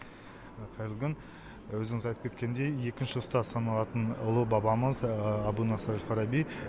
қайырлы күн өзіңіз айтып кеткендей екінші ұстаз саналатын ұлы бабамыз әбу насыр әл фараби